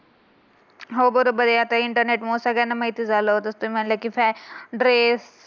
हो बरोबर आहे. आता इंटरनेट मुळे सगळ्यांना माहिती झालं असतं फॅश ड्रेस